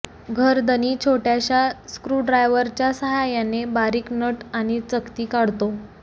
घरधनी छोट्याशा स्क्रूड्रायव्हरच्या सहाय्याने बारीक नट आणि चकती काढतो